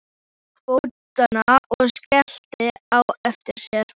Hún tók til fótanna og skellti á eftir sér.